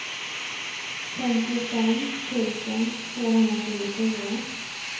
femtiofem tusen tvåhundratjugofyra